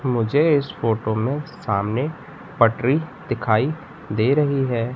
मुझे इस फोटो में सामने पटरी दिखाई दे रही है।